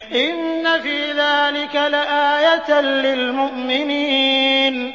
إِنَّ فِي ذَٰلِكَ لَآيَةً لِّلْمُؤْمِنِينَ